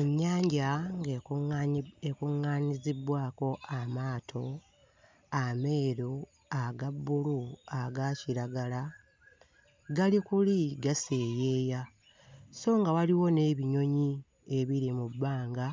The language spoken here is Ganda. Ennyanja ng'ekuŋŋaanyi... ekuŋŋaanyizibbwako amaato ameeru, aga bbulu, aga kiragala, gali kuli gaseeyeeya so nga waliwo n'ebinyonyi ebiri mu bbanga